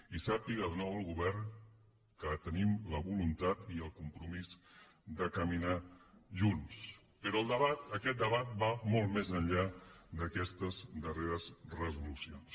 i que sàpiga de nou el govern que tenim la voluntat i el compromís de caminar junts però el debat aquest debat va molt més enllà d’aquestes darreres resolucions